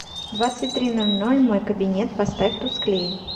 в двадцать три ноль ноль мой кабинет поставь тусклее